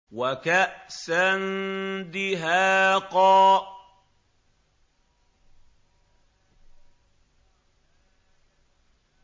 وَكَأْسًا دِهَاقًا